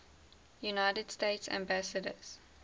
united states ambassadors